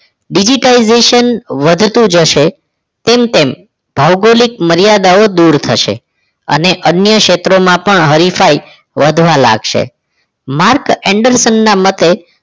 Digitalization વધતું જશે તેમ તેમ ભૌગોલિક મર્યાદાઓ દૂર થશે અને અન્ય ક્ષેત્રોમાં પણ હરિફાઈ વધવા લાગશે mark end sun ના મતે